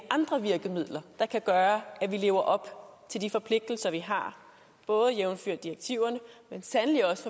andre virkemidler der kan gøre at vi lever op til de forpligtelser vi har både jævnfør direktiverne men sandelig også